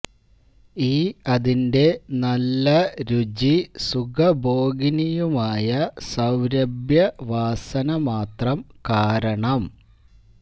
ഈ അതിന്റെ നല്ല രുചി സുഖഭോഗിനിയുമായ സൌരഭ്യവാസന മാത്രം കാരണം